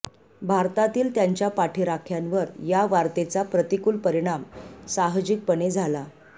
भारतातील त्यांच्या पाठिराख्यांवर ह्या वार्तेचा प्रतिकूल परिणाम साहजिकपणे झाला